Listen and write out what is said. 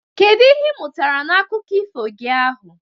Kedu ihe ị mụtara na akụkọ ifo gi ahụ?